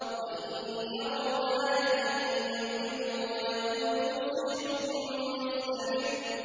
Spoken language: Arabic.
وَإِن يَرَوْا آيَةً يُعْرِضُوا وَيَقُولُوا سِحْرٌ مُّسْتَمِرٌّ